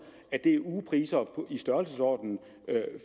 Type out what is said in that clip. er ugepriser i størrelsesordenen